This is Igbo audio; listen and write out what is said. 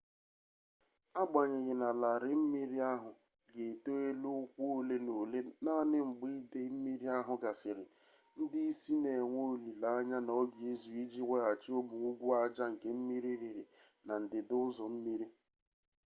agbanyeghi na larịị mmiri ahụ ga-eto elu ụkwụ ole na ole naanị mgbe idei mmiri ahụ gasịrị ndị isi na-enwe olile anya na ọ ga-ezu iji weghachi ụmụ ugwu aja nke mmiri riri na ndịda ụzọ mmiri